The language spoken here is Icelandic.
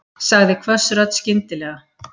sagði hvöss rödd skyndilega.